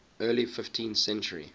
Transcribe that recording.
early fifteenth century